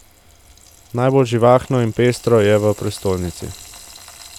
Najbolj živahno in pestro je v prestolnici.